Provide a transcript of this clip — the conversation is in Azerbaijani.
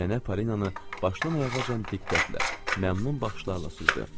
Nənə Polinanı başdan ayağacan diqqətlə, məmnun baxışlarla süzdü.